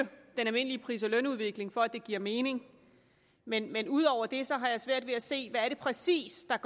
den almindelige pris og lønudvikling for at det giver mening men men ud over det har jeg svært ved at se hvad det præcis er